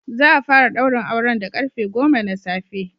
Za a fara ɗaurin auren da karfe goma na safe.